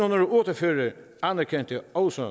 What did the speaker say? otte og fyrre anerkendte også